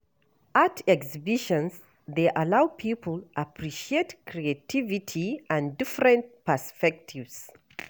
Art exhibitions dey allow people appreciate creativity and different perspectives.